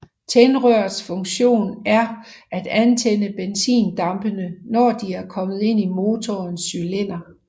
Tændrørets funktion er at antænde benzindampene når de er kommet ind i motorens cylinder